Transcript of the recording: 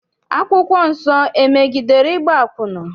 Akwụkwọ nsọ emegidere ịgba akwụna?